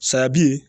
Saya bi